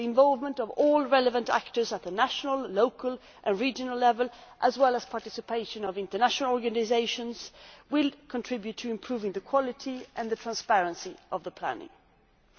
The involvement of all relevant actors at national, local and regional levels and the participation of international organisations will contribute to improving the quality and transparency of the planning process.